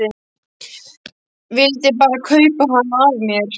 Vildi bara kaupa hana af mér!